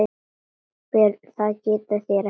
BJÖRN: Það getið þér ekki.